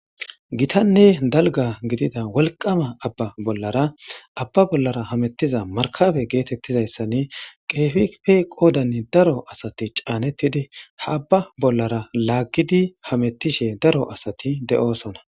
gitanne dalga gidida wolqama abba bollara abba bollara hamettiza markabe geetettizayssanni kehife qoodanne daro asati caanettidi ha abba bollara laaggidi hamettishe daro asati de'oosona